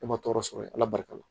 E ma tɔɔrɔ sɔrɔ ala barika la